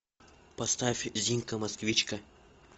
поставь зинка москвичка